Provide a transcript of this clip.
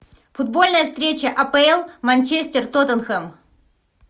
футбольная встреча апл манчестер тоттенхэм